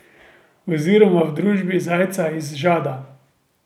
Oziroma v družbi zajca iz žada.